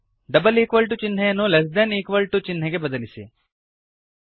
double equal to ಚಿಹ್ನೆಯನ್ನು less than equal to ಚಿಹ್ನೆಗೆ ಬದಲಿಸಿ